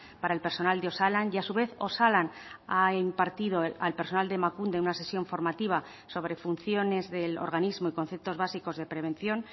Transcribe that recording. para el personal de osalan y a su vez osalan ha impartido al personal de emakunde una sesión formativa sobre funciones del organismo y conceptos básicos de prevención